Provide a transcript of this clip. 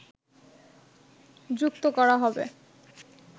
যুক্ত করা হবে